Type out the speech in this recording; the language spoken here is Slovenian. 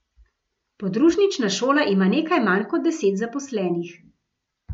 Podružnična šola ima nekaj manj kot deset zaposlenih.